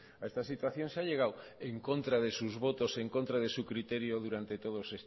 a esta situación se ha llegado en contra de sus votos en contra de su criterio durante todos